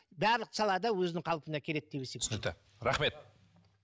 барлық салада өзінің қалпына келеді деп есептеймін түсінікті рахмет